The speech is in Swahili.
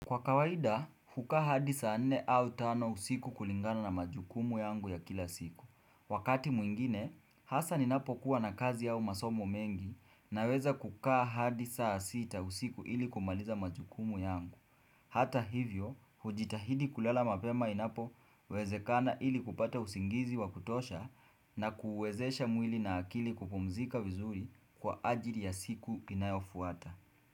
Kwa kawaida, hukaa hadi saa nne au tano usiku kulingana na majukumu yangu ya kila siku. Wakati mwingine, hasa ninapokuwa na kazi ao masomo mengi naweza kukaa hadi saa sita usiku ili kumaliza majukumu yangu. Hata hivyo, hujitahidi kulala mapema inapowezekana ili kupata usingizi wa kutosha na kuuwezesha mwili na akili kupumzika wizuri kwa ajili ya siku inayofuata.